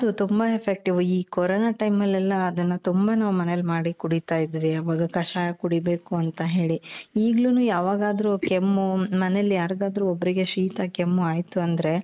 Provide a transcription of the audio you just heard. ಹೌದು ತುಂಬಾ effective ಈ corona time ಅಲ್ಲೆಲ್ಲ ಅದುನ್ನ ತುಂಬಾ ನಾವ್ ಮನೇಲಿ ಮಾಡಿ ಕುಡೀತಾ ಇದ್ವಿ ಆವಾಗ ಕಷಾಯ ಕುಡಿಬೇಕು ಅಂತ ಹೇಳಿ ಈಗ್ಲೂನು ಯಾವಾಗಾದ್ರೂ ಕೆಮ್ಮು ಮನೇಲಿ ಯಾರಿಗಾದ್ರೂ ಒಬ್ರಿಗೆ ಶೀತ ಕೆಮ್ಮು ಆಯಿತು ಅಂದ್ರೆ .